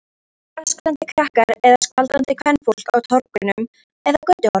Engir öskrandi krakkar eða skvaldrandi kvenfólk á torgum eða götuhornum.